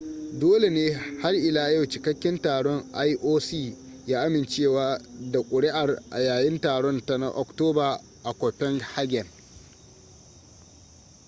dole ne har ila yau cikakken taron ioc ya amincewa da ƙuri'ar a yayin taron ta na oktoba a copenhagen